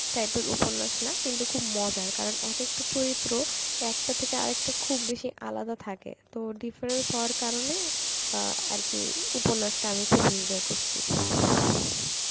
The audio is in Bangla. type এর উপন্যাস না কিন্তু খুব মজার কারণ এক একটা চরিত্র একটার থেকে আরেকটা খুব বেশি আলাদা থাকে তো difference হওয়ার কারণে অ্যাঁ আর কি উপন্যাসটা আমি খুব enjoy করসি